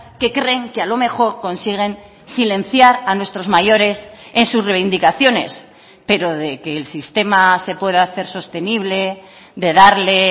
que creen que a lo mejor consiguen silenciar a nuestros mayores en sus reivindicaciones pero de que el sistema se pueda hacer sostenible de darle